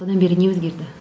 одан бері не өзгерді